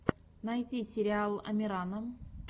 найти сериал амирана